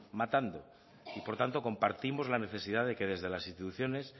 matando y por tanto compartimos la necesidad de que desde las instituciones